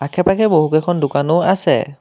সেইপাকে বহু কেইখন দোকানো আছে।